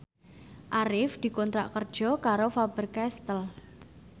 Arif dikontrak kerja karo Faber Castel